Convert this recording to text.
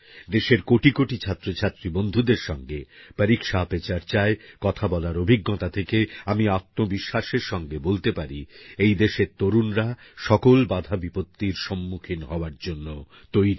দেশের কোটি কোটি ছাত্রছাত্রী বন্ধুদের সঙ্গে পরীক্ষা পে চর্চায় কথা বলার অভিজ্ঞতা থেকে আমি আত্মবিশ্বাসের সঙ্গে বলতে পারি এই দেশের তরুনরা সকল বাধা বিপত্তির সম্মুখীন হওয়ার জন্য তৈরি